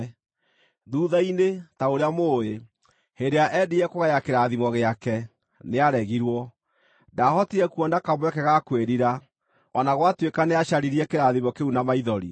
Thuutha-inĩ, ta ũrĩa mũũĩ, hĩndĩ ĩrĩa eendire kũgaya kĩrathimo gĩake, nĩaregirwo. Ndaahotire kuona kamweke ga kwĩrira, o na gwatuĩka nĩacaririe kĩrathimo kĩu na maithori.